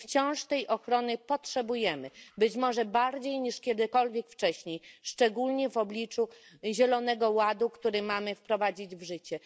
Wciąż tej ochrony potrzebujemy, być może bardziej niż kiedykolwiek wcześniej, szczególnie w obliczu Zielonego Ładu, który mamy wprowadzić w życie.